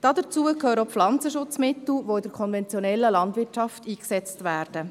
Dazu gehören auch die Pflanzenschutzmittel, welche in der konventionellen Landwirtschaft eingesetzt werden.